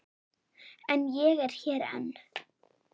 En ég er hér enn.